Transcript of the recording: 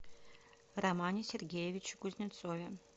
романе сергеевиче кузнецове